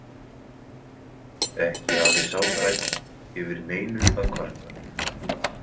Ekki hafði sá þræll yfir neinu að kvarta.